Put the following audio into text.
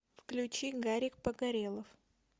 включи гарик погорелов